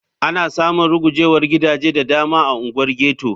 Ana samun rugujewar gidaje da dama a unguwar ghetto.